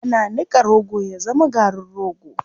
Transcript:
Ana niƙa rogo ya zama garin rogo.